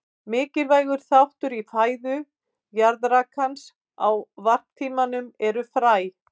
Mikilvægur þáttur í fæðu jaðrakans á varptímanum eru fræ.